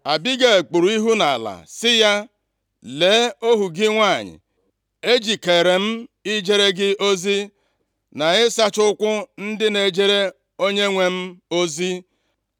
Abigel kpuru ihu nʼala sị ya, “Lee ohu gị nwanyị, ejikeere m ijere gị ozi, na ịsacha ụkwụ ndị na-ejere onyenwe m ozi.”